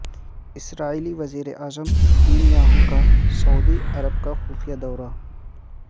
اسرائیلی وزیر اعظم Netanyahu کا سعودی عرب کا خفیہ دورہ